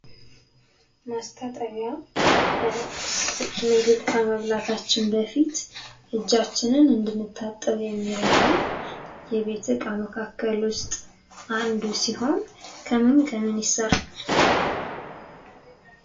ማስታጠቢያ ምግብ ከመብላታችን በፊት እጃችንን እንድንታጠብ የሚረዳን የቤት እቃ መካከል ውስጥ አንዱ ሲሆን ከምን ከምን ይሰራል?